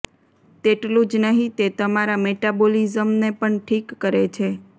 તેટલું જ નહીં તે તમારા મેટાબોલિઝમને પણ ઠીક કરે છે